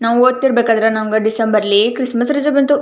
ನಾವು ಓಡುತ್ತಿರ್ಬೇಕಾದ್ರೆ ಡಿಸೆಂಬರ್ ನಲ್ಲಿ ನಮಗೆ ಕ್ರಿಸ್ಮಸ್ ರಜೆ ಬಂತು.